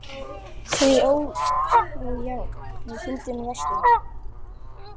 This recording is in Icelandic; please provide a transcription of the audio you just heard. Því ó, já, fyndin varstu.